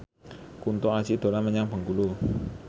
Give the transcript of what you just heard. Kunto Aji dolan menyang Bengkulu